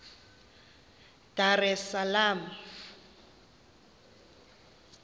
dar es salaam